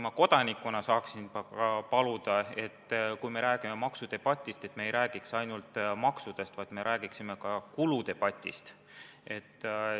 Kodanikuna ma tahaksingi paluda, et kui meil käib maksudebatt, siis me ei räägiks ainult maksudest, vaid me räägiksime ka kuludest.